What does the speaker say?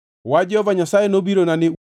Wach Jehova Nyasaye nobirona ni: